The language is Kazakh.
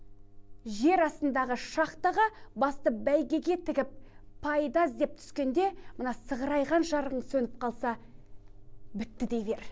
жер астындағы шахтаға басты бәйгеге тігіп пайда іздеп түскенде мына сығырайған жарығың сөніп қалса бітті дей бер